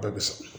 Bɛɛ bɛ sɔrɔ